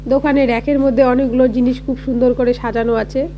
দোকানে র‍্যাক এর মধ্যে অনেকগুলো জিনিস খুব সুন্দর করে সাজানো আছে।